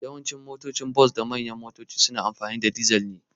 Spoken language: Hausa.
Yawancin motocin bas da manyan motoci na amfani da ma dizal ne.